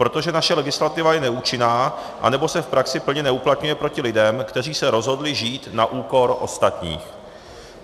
Protože naše legislativa je neúčinná nebo se v praxi plně neuplatňuje proti lidem, kteří se rozhodli žít na úkor ostatních.